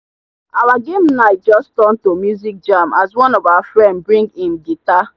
our game night just turn to music jam as one of our friend bring him guitar.